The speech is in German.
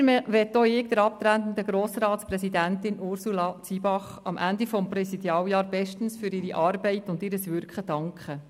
Weiter möchte auch ich der abtretenden Grossratspräsidentin Ursula Zybach am Ende ihres Präsidialjahres bestens für ihre Arbeit und ihr Wirken danken.